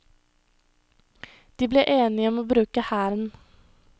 De ble enige om å bruke hæren.